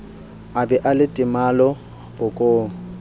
a ba le temalo bokong